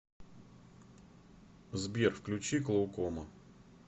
сбер включи клоукома